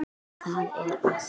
Það er allt.